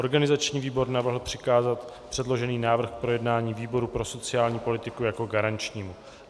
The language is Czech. Organizační výbor navrhl přikázat předložený návrh k projednání výboru pro sociální politiku jako garančnímu.